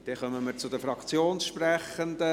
Dann kommen wir zu den Fraktionssprechenden.